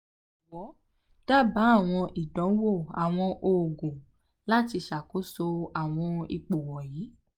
jọwọ daba awọn idanwo awọn oogun lati ṣakoso awọn ipo wọnyi